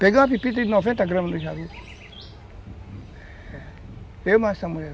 Peguei uma pepita de noventa gramas do Jalupo